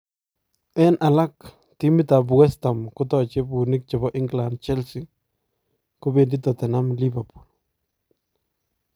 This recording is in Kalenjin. En alaak , timitab West Ham kotachee buunik chebo England Chelsea, kobeendii Tottenham Liverpool.